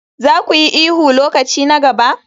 Za ku yi ihu lokaci na gaba?